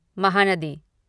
Mahanadi